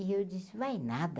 E eu disse, vai nada.